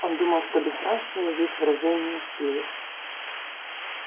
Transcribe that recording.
он думал что бесстрашие есть выражение силы